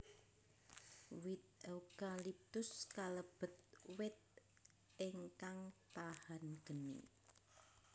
Wit eukaliptus kalebet wit ingkang tahan geni